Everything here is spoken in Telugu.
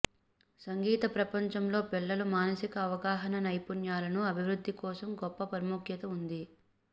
సంగీత ప్రపంచంలో పిల్లల మానసిక అవగాహన నైపుణ్యాలను అభివృద్ధి కోసం గొప్ప ప్రాముఖ్యత ఉంది